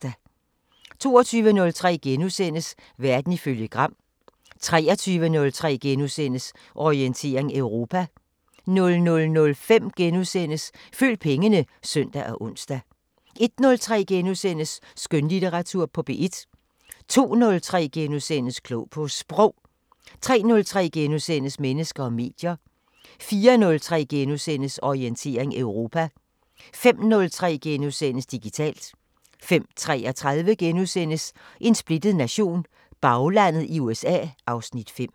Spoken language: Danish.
22:03: Verden ifølge Gram * 23:03: Orientering Europa * 00:05: Følg pengene *(søn og ons) 01:03: Skønlitteratur på P1 * 02:03: Klog på Sprog * 03:03: Mennesker og medier * 04:03: Orientering Europa * 05:03: Digitalt * 05:33: En splittet nation – Baglandet i USA (Afs. 5)*